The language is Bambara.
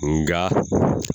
Nga